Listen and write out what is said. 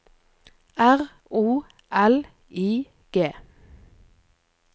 R O L I G